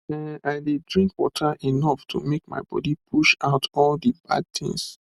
ehn i dey drink water enough to make my body push out all the bad things